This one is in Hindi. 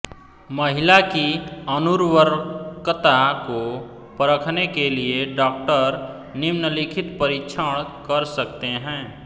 महिला की अनुर्वरकता को परखने के लिए डॉक्टर निम्नलिखित परीक्षण कर सकते हैं